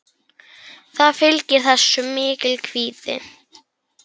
Það fylgir þessu mikill kvíði.